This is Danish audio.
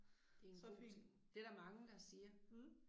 Så fint. Mh